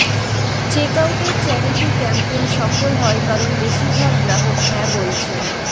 চেকআউটের charity campaign সফল হয় কারণ বেশীরভাগ গ্রাহক হ্যাঁ বলছেন